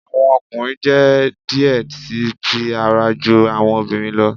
Awọn ọmọkunrin jẹ diẹ sii ti ara ju awọn ọmọbirin lọ